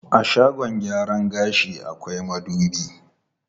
A shagon gyaran gashi akwai madubi.